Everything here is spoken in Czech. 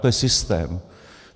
To je systém.